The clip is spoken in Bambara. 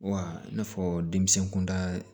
Wa i n'a fɔ denmisɛn kunda